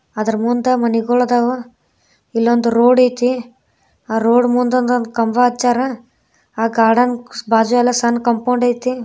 ಆದ್ರ ಮುಂದ ಮನೆಗಳಿದ್ದಾವ ಇಲ್ಲೊಂದು ರೋಡಾಯ್ತಿ ರೋಡ್ ಮುಂದು ಕಂಬ ಅಚ್ಚರ ಆ ಕಾಡಂಗ್ ಬಾಜು ಎಲ್ಲಾ ಸಣ್ ಕಾಂಪೌಂಡೈತಿ.